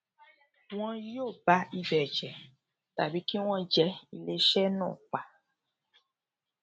wọn yóò ba ibẹ jẹ tàbí kí wọn jẹ iléeṣẹ náà pa